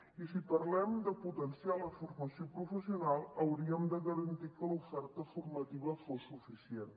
i si parlem de potenciar la formació professional hauríem de garantir que l’oferta formativa fos suficient